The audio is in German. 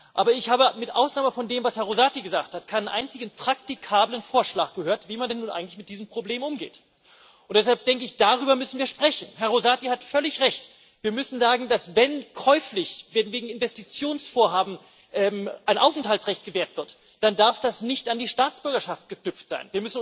Aber ich habe mit Ausnahme von dem, was Herr Rosati gesagt hat, keinen einzigen praktikablen Vorschlag gehört, wie man denn nun eigentlich mit diesem Problem umgeht. Deshalb denke ich, müssen wir darüber sprechen. Herr Rosati hat völlig recht Wir müssen sagen, dass, wenn käuflich wegen Investitionsvorhaben ein Aufenthaltsrecht gewährt wird, dann darf das nicht an die Staatsbürgerschaften geknüpft sein.